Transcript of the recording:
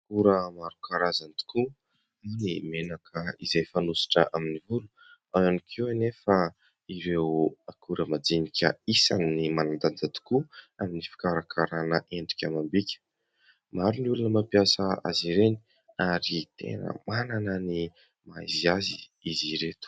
Akora maro karazany tokoa, ny menaka izay fanosotra amin'ny volo. Ao ihany koa anefa ireo akora majinika isan'ny manandanja tokoa amin'ny fikarakaràna endrika amam-bika. Maro ny olona mampiasa azy ireny ary tena manana ny maha izy azy izy ireto.